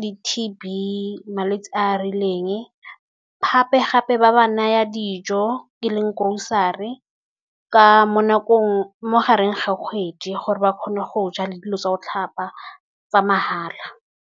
di-T_B, malwetse a rileng gape-gape ba ba naya dijo, e leng grocery mo gareng ga kgwedi gore ba kgone go ja le dilo tsa go tlhapa tsa mahala.